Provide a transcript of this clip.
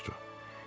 Qori soruşdu.